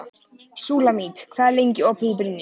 Súlamít, hvað er lengi opið í Brynju?